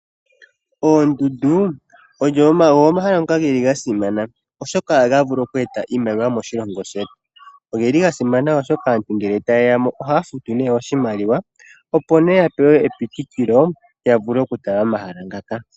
Oondundu ogo omahala ngoka geli ga simana oshoka ohaga vulu oku eta oshimaliwa moshilongo . Ogeli ga simana oshoka aantu ngele tayeyamo ohaya futu oshimaliwa ,opo yapewe epitikilo yavule oku tala omahala ngaka.